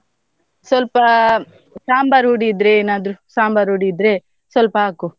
ಸ್ವಲ್ಪಾ ಸಾಂಬಾರ್ ಹುಡಿ ಇದ್ರೆ ಏನಾದ್ರು ಸಾಂಬಾರ್ ಹುಡಿ ಇದ್ರೆ ಸ್ವಲ್ಪ ಹಾಕು.